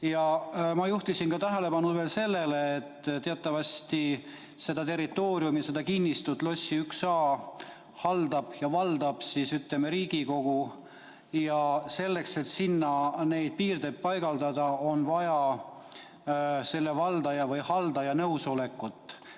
Ja ma juhtisin tähelepanu veel sellele, et teatavasti seda territooriumi, seda kinnistut Lossi 1a haldab ja valdab Riigikogu ning selleks, et sinna neid piirdeid paigaldada, on vaja valdaja või haldaja nõusolekut.